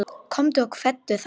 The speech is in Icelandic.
Komdu og kveddu þá.